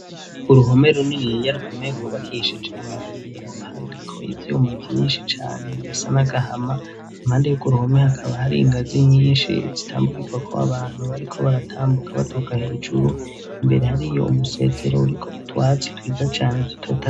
Uruhome runiniya rukomeye, gwubakishije amabuye, hariko ivyuma vyinshi cane bisa n'agahama ,impande yurwo uruhome hakaba hari ingazi nyinshi zitambukirwa ko abantu bariko baratambuka baduka hejuru, imbere hari iyo umusezero uriko utwatsi twiza cane dutoyaha